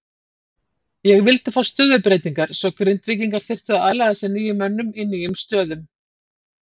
Ég vildi fá stöðubreytingar svo Grindvíkingar þyrftu að aðlaga sig nýjum mönnum í nýjum stöðum.